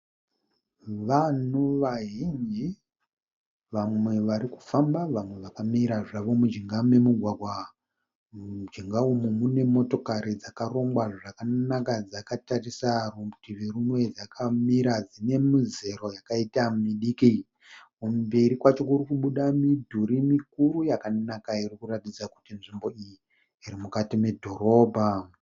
Vanhu vazhinji vamwe varikufamba vamwe vakamira zvavo mujinga memugwagwa. Mujinga umu mune motokari dzakarongwa zvakanaka dzakatarisa rutivi rumwe dzakamira dzine muzero yakaita midiki. Kumberi kwacho kurikubuda midhuri mikuru yakanaka iri kuratidza kuti nzvimbo iyi iri mukati medhorobha.